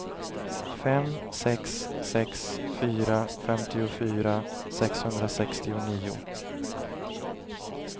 fem sex sex fyra femtiofyra sexhundrasextionio